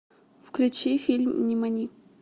включи фильм нимани